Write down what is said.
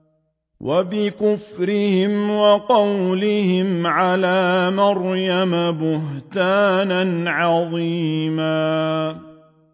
وَبِكُفْرِهِمْ وَقَوْلِهِمْ عَلَىٰ مَرْيَمَ بُهْتَانًا عَظِيمًا